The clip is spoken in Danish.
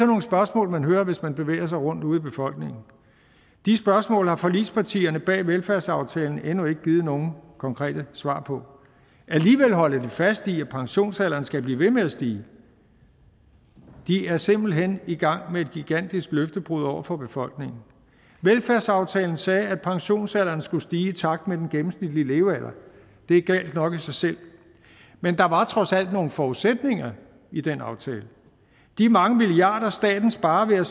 nogle spørgsmål man hører hvis man bevæger sig rundt ude i befolkningen de spørgsmål har forligspartierne bag velfærdsaftalen endnu ikke givet nogen konkrete svar på alligevel holder de fast i at pensionsalderen skal blive ved med at stige de er simpelt hen i gang med et gigantisk løftebrud over for befolkningen velfærdsaftalen sagde at pensionsalderen skulle stige i takt med den gennemsnitlige levealder det er galt nok i sig selv men der var trods alt nogle forudsætninger i den aftale de mange milliarder staten sparer